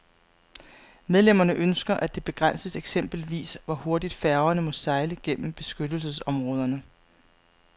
Medlemmerne ønsker, at det begrænses eksempelvis hvor hurtigt færgerne må sejle gennem beskyttelsesområderne.